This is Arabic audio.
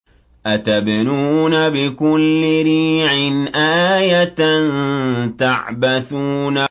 أَتَبْنُونَ بِكُلِّ رِيعٍ آيَةً تَعْبَثُونَ